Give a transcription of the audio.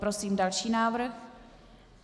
Prosím další návrh.